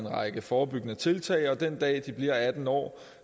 række forebyggende tiltag og den dag de bliver atten år